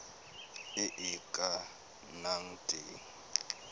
e e ka nnang teng